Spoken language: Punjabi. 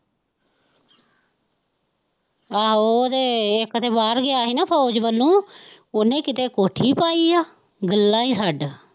ਆਹੋ ਉਹਦੇ ਇੱਕ ਤੇ ਬਾਹਰ ਗਿਆ ਸੀ ਨਾ ਫੋਜ਼ ਵੱਲੋਂ ਉਹਨੇ ਕਿਤੇ ਕੋਠੀ ਪਾਈ ਹੈ, ਗੱਲਾਂ ਹੀ ਛੱਡ